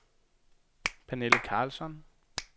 Pernille Carlsson